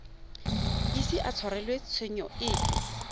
ise a tshwarelwe tshenyo epe